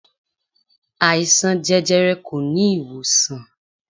Àìsàn jẹjẹrẹ kò ní ìwòsàn.